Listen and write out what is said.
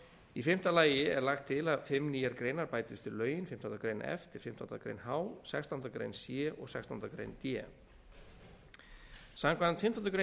í fimmta lagi er lagt til að fimm nýjar greinar bætist við lögin fimmtándu grein f til fimmtándu grein h sextándu grein c og sextándu grein d samkvæmt fimmtándu grein f